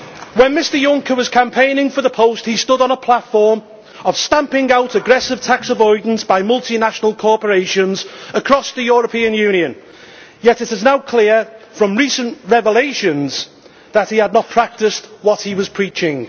When Mr Juncker was campaigning for the post, he stood on a platform of stamping out aggressive tax avoidance by multinational corporations across the European Union, yet it is now clear from recent revelations that he had not practised what he was preaching.